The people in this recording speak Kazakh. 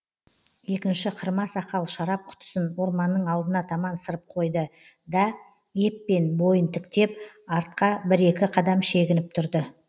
екінші қырма сақал шарап құтысын орманның алдына таман сырып қойды да еппен бойын тіктеп артқа бір екі қадам шегініп тұрды